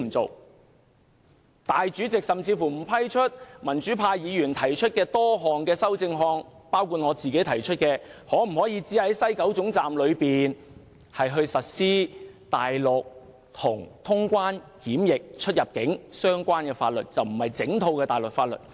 立法會主席甚至不批准民主派議員提出的多項修正案，包括我提出的在西九龍總站僅實施與清關、出入境、檢疫相關的大陸法律，而不是整套大陸法律。